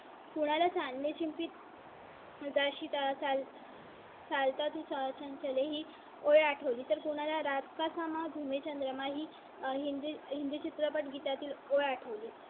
वजा शीतळ चालता ते चर्चांचे ही ओळ आठवली तर कुणाला रात कसा मागू? मी चंद्र माही हिंदी चित्रपट गीता तील ओळ आठवली